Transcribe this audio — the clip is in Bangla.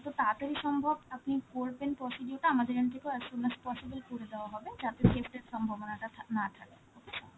তাড়াতাড়ি সম্ভব আপনি করবেন procedure টা, আমাদের end থেকেও as soon as possible করে দেওয়া হবে, যাতে এর সম্ভাবনাটা থাক~ না থাকে, okay sir?